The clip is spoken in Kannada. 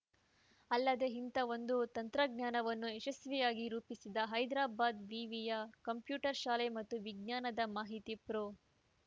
ಅಲ್ಲದೆ ಇಂಥ ಒಂದು ತಂತ್ರಜ್ಞಾನವನ್ನು ಯಶಸ್ವಿಯಾಗಿ ರೂಪಿಸಿದ ಹೈದರಾಬಾದ್‌ ವಿವಿಯ ಕಂಪ್ಯೂಟರ್‌ ಶಾಲೆ ಮತ್ತು ವಿಜ್ಞಾನದ ಮಾಹಿತಿಯ ಪ್ರೊ